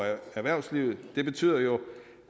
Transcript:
erhvervslivet det betyder jo